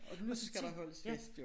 Og nu skal der holdes fest jo